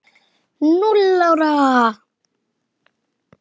Núll ára!